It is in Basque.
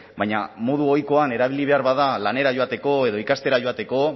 baina modu ohikoan erabili behar bada lanera joateko edo ikastera joateko